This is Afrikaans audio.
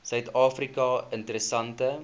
suid afrika interessante